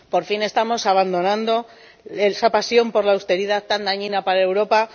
Por fin, estamos abandonando esa pasión por la austeridad, tan dañina para Europa.